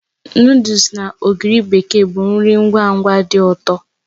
Nụdles na ogiri bekee bụ nri ngwa ngwa dị ụtọ